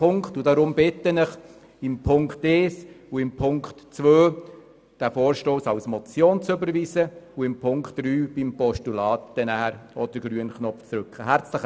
Deshalb bitte ich Sie, bei Punkt 1 und Punkt 2 den Vorstoss als Motion zu überweisen und bei Punkt 3 als Postulat den grünen Knopf zu drücken.